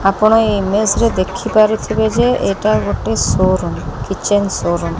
ଆପଣ ଏଇ ଇମେଜ୍ ରେ ଦେଖିପାରୁଥିବେ ଯେ ଏଇଟା ଗୋଟେ showroom kitchen showroom.